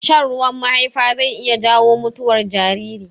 Shan ruwan mahaifa zai iya jawo mutuwar jariri.